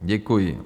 Děkuji.